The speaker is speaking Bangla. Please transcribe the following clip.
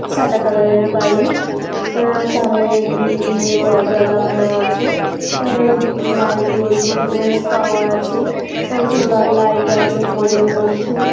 সাদা কালারের বাড়ি। উম সামনে গ্রিল দিয়ে দরজা লাগানো আছে। উম লাইট জ্বলছে বেশ টাওয়ার আছে। সোলার লাইট আছে পোলের মধ্যে।